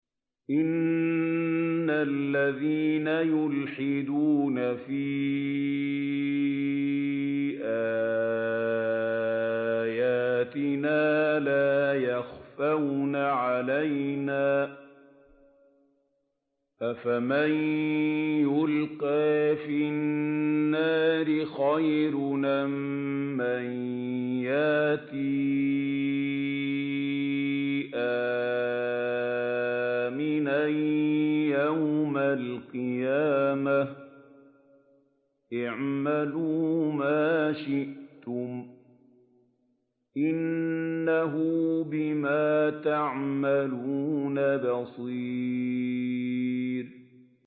إِنَّ الَّذِينَ يُلْحِدُونَ فِي آيَاتِنَا لَا يَخْفَوْنَ عَلَيْنَا ۗ أَفَمَن يُلْقَىٰ فِي النَّارِ خَيْرٌ أَم مَّن يَأْتِي آمِنًا يَوْمَ الْقِيَامَةِ ۚ اعْمَلُوا مَا شِئْتُمْ ۖ إِنَّهُ بِمَا تَعْمَلُونَ بَصِيرٌ